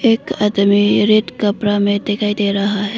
एक आदमी रेड कपड़ा में दिखाई दे रहा है।